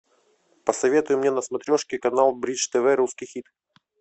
посоветуй мне на смотрешке канал бридж тв русский хит